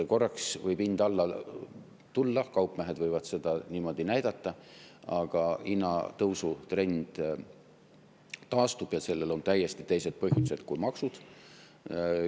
Korraks võib hind alla tulla, kaupmehed võivad seda niimoodi näidata, aga hinnatõusu trend taastub ja sellel on täiesti teised põhjused kui maksud.